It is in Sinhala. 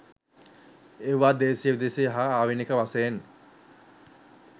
ඒවා දේශීය විදේශීය හා ආවේණික වශයෙන්